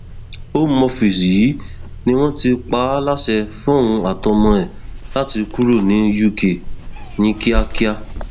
home office yìí ni wọn ti pa á láṣẹ fóun àtọmọ ẹ láti kúrò ní uk ní kíákíá